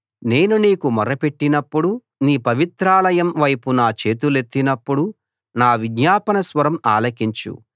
నేను నీకు మొరపెట్టినపుడు నీ పవిత్రాలయం వైపు నా చేతులెత్తినప్పుడు నా విజ్ఞాపన స్వరం ఆలకించు